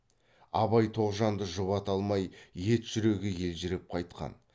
абай тоғжанды жұбата алмай ет жүрегі елжіреп қайтқан